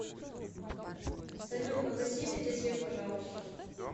салют погаси везде свет пожалуйста